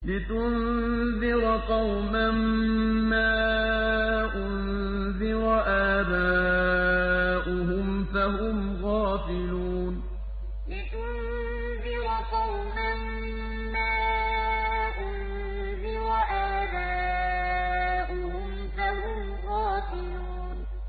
لِتُنذِرَ قَوْمًا مَّا أُنذِرَ آبَاؤُهُمْ فَهُمْ غَافِلُونَ لِتُنذِرَ قَوْمًا مَّا أُنذِرَ آبَاؤُهُمْ فَهُمْ غَافِلُونَ